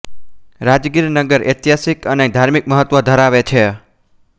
રાજગીર નગર ઐતિહાસિક અને ધાર્મિક મહત્વ ધરાવે છે